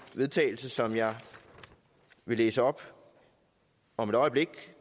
vedtagelse som jeg vil læse op om et øjeblik